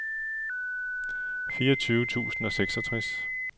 fireogtyve tusind og seksogtres